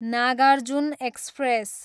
Nagarjun express